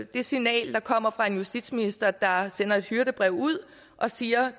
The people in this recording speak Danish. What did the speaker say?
det signal der kommer fra en justitsminister der sender et hyrdebrev ud og siger